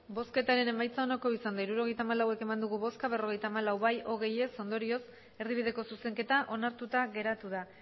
hirurogeita hamalau eman dugu bozka berrogeita hamalau bai hogei ez ondorioz erdibideko zuzenketa onartuta geratu da